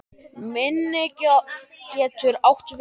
Minni getur átt við